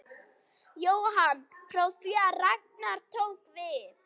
Jóhann: Frá því að Ragnar tók við?